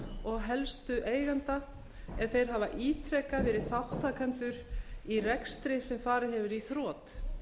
og helstu eigenda ef þeir hafa ítrekað verið þátttakendur í rekstri sem farið hefur í þrot